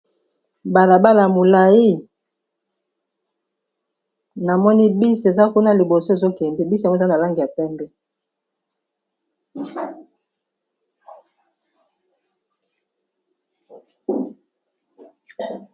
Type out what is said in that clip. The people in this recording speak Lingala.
Balabala molayi namoni bus eza kuna liboso ezokende bus ango eza na langi ya pembe.